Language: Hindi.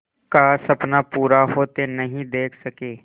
का सपना पूरा होते नहीं देख सके